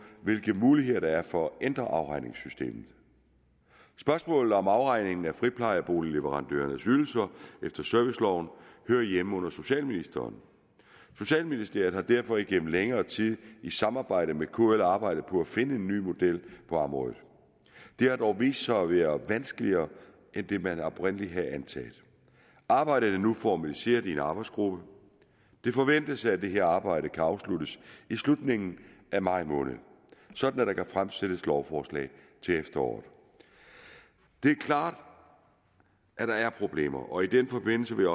hvilke muligheder der er for at ændre afregningssystemet spørgsmålet om afregningen af friplejeboligleverandørernes ydelser efter serviceloven hører hjemme under socialministeren socialministeriet har derfor igennem længere tid i samarbejde med kl arbejdet på at finde en ny model på området det har dog vist sig at være vanskeligere end man oprindelig havde antaget arbejdet er nu formaliseret i en arbejdsgruppe det forventes at det her arbejde kan afsluttes i slutningen af maj måned sådan at der kan fremsættes lovforslag til efteråret det er klart at der er problemer og i den forbindelse vil